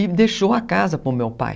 E deixou a casa para o meu pai.